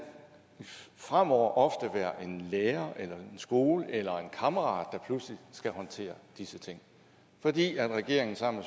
fremover ofte være en lærer eller en skole eller en kammerat der pludselig skal håndtere disse ting fordi regeringen sammen